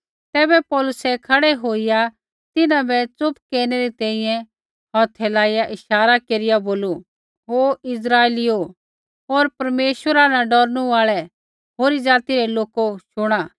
तैबै पौलुसै खड़ै होईया तिन्हां बै चुप केरनै री तैंईंयैं हौथै लाइआ इशारा केरिआ बोलू हे इस्राइलीओ होर परमेश्वरा न डौरनू आल़ै होरी जाति रै लोको शुणा